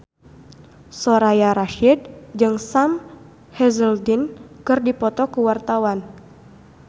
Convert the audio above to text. Soraya Rasyid jeung Sam Hazeldine keur dipoto ku wartawan